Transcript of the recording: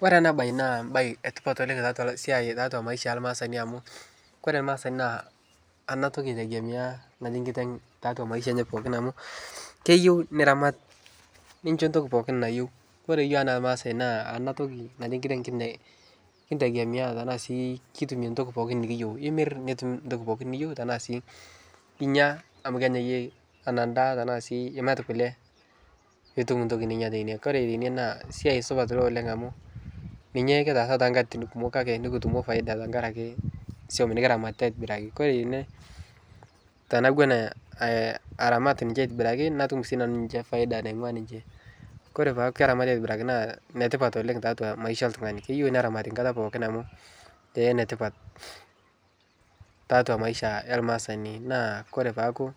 Kore ana bae naa bae etipat oleng tatua siai maisha elmasani amu kore lmaasani naa ana toki etegemea naji nkiteg tatua maisha enye pooki amu keyeu naramat ninchoo ntoki pooki nayeu kore yuok ana lmaasae naa anatoki naji nkiteg nkitegemea tanaasi kitume ntoki pooki nikiyou emir nitum ntoki pooki ninyeu tanaasi inya amu kenyayeki ana ndaa tanaasi imat kule nitum ntoki ninya teine kore teine na siai supat ilo oleng amu ninye kitasaa tenkatitin kumok make nikitumo paida tankaraki suom nikiramatita atobiraki, Kore ine tanawuon aramat ninche atibiraki natum si nanu paida naingua ninche, Kore peaku keramati ninche atibiraki naa netipat oleng tatua maisha eltungani keyeu neramati nkata pooki amu netipat tatua maisha elmasani naa kore peaku